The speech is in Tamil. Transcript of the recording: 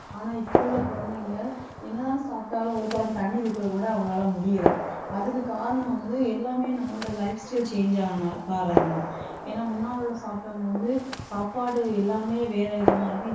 ஆனா இப்ப உள்ள குழந்தைங்க என்னதான் சாப்பிட்டாலும் ஒரு குடம் தண்ணி தூக்கக்கூட அவங்களால முடியலை. அதுக்கு காரணம் வந்து எல்லாமே நம்மளோட lifestyle change ஆனனால காரணம் தான் ஏன்னா முன்னால உள்ள சாப்பிட்டவங்க வந்து சாப்பாடு எல்லாமே வேற விதமா இருக்கும்.